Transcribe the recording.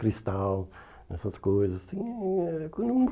Cristal, essas coisas. Hum hum eh